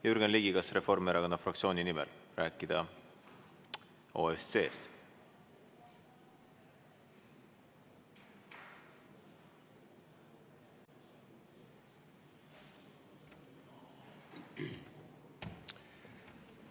Jürgen Ligi, kas on soov Reformierakonna fraktsiooni nimel rääkida OSCE-st?